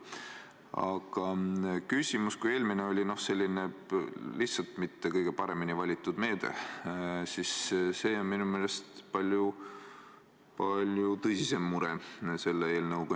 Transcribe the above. Aga kui eelmine oli selline lihtsalt mitte kõige paremini valitud meede, siis selle eelnõuga on minu meelest palju tõsisem mure.